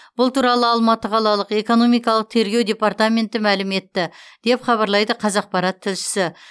бұл туралы алматы қалалық экономикалық тергеу департаменті мәлім етті деп хабарлайды қазақпарат тілшісі